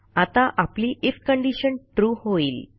आता आपली IF condition true होईल